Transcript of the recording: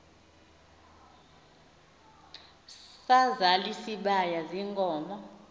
sazal isibaya ziinkomo